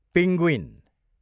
penguin